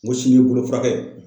N ko sini bolo furakɛ ye.